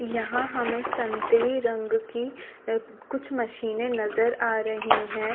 यहाँ हमे संतरी रंग की कुछ मशीने नज़र आ रही हैं।